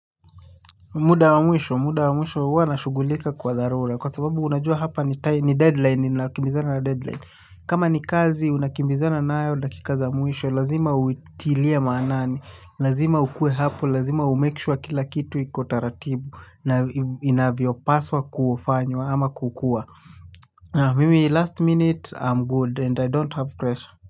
Muda wa mwisho muda wa mwisho huwa nashughulika kwa dharura kwa sababu unajua hapa ni deadline ninakimbizana na deadline kama ni kazi unakimbizana nayo dakika za wa mwisho lazima uitilie maanani lazima ukuwe hapo lazima umake sure kila kitu iko taratibu inavyopaswa kufanywa ama kukuwa mimi last minute i'm good and i don't have pressure.